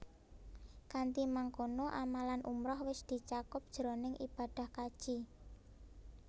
Kanthi mangkono amalan umrah wis dicakup jroning ibadah kaji